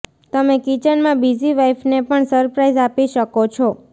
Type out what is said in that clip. તમે કિચનમાં બિઝી વાઈફને પણ સરપ્રાઈઝ આપી શકો છો